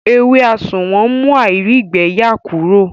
Ewé àsùnwòn ń mú àìrígbẹyà Kúrò